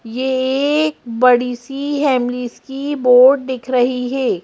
ये एक बड़ी सी हैमलिस की बोर्ड दिख रही है।